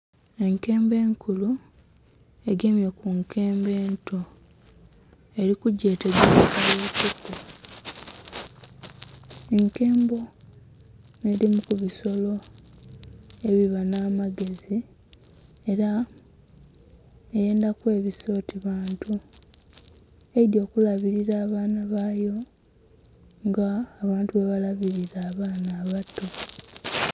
Enkembo enkulu egemye ku nkembo ento eli kugyetegereza mu kutu. Enkembo nh'edhimu ku bisolo ebiba nh'amagezi ela eyendha kwebisa oti bantu, eidhi okulabilira abaana bayo nga abantu bwebalabilira abaana abato.